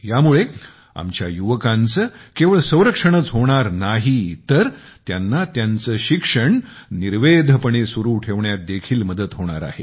यामुळे आमच्या युवकांचे केवळ संरक्षणच होणार नाही आहे तर त्यांना त्यांचे शिक्षण निर्वेधपणे सुरू ठेवण्यात देखील मदत होणार आहे